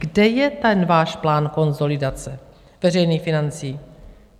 Kde je ten váš plán konsolidace veřejných financí?